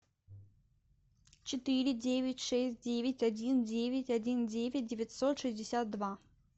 четыре девять шесть девять один девять один девять девятьсот шестьдесят два